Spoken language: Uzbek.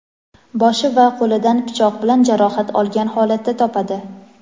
boshi va qo‘lidan pichoq bilan jarohat olgan holatda topadi.